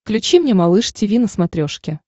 включи мне малыш тиви на смотрешке